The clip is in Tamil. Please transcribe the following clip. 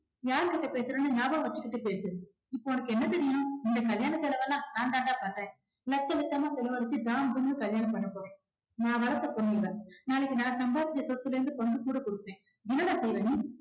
யார்கிட்ட பேசுறேன்னு ஞாபகம் வச்சுக்கிட்டு பேசு. இப்ப உனக்கு என்ன தெரியணும். இந்த கல்யாண செலவெல்லாம் நான் தாண்டா பண்றேன் லட்சம் லட்சமா செலவழிச்சு ஜாம் ஜாம்னு கல்யாணம் பண்ண போறேன். நான் வளர்த்த பொண்ணு இவ. நாளைக்கு நான் சம்பாதிச்ச சொத்துலேந்து பங்கு கூட கொடுப்பேன். என்னடா செய்வ நீ